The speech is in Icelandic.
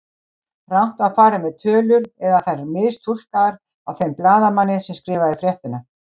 Rangt var farið með tölur eða þær mistúlkaðar af þeim blaðamanni sem skrifaði fréttina.